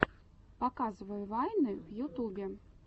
показывай вайны в ютубе